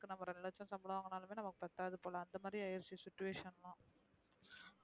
இப்ப நம்ம ரெண்டு லச்சம் சம்பளம் வாங்கினாலும் கூட நமக்கு பத்தாது போல அந்த மாதிரி அய்ருச்சு situation